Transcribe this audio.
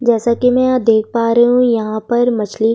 जैसा कि मैं देख पा रही हूं यहां पर मछली --